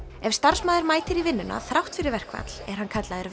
ef starfsmaður mætir í vinnuna þrátt fyrir verkfall er hann kallaður